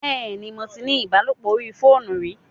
Bẹ́ẹ̀ni, mo tí ní ìbálòpọ̀ orí fóònù rí